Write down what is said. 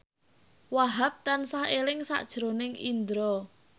Wahhab tansah eling sakjroning Indro